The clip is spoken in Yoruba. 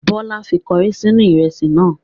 Bọla fi kọrí sínú ìrẹsì náà.